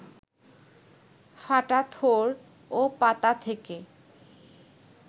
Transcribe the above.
ফাটা থোড় ও পাতা থেকে